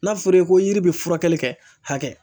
N'a fɔra i ye ko yiri bɛ furakɛli kɛ hakɛ